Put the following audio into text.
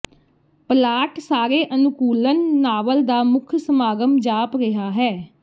plot ਸਾਰੇ ਅਨੁਕੂਲਣ novel ਦਾ ਮੁੱਖ ਸਮਾਗਮ ਜਾਪ ਰਿਹਾ ਹੈ